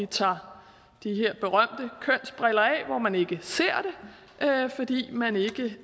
tager de her berømte kønsbriller af hvor man ikke ser det fordi man ikke ved